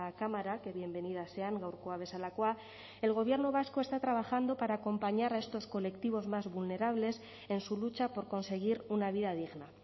cámara que bienvenidas sean gaurkoa bezalakoa el gobierno vasco está trabajando para acompañar a estos colectivos más vulnerables en su lucha por conseguir una vida digna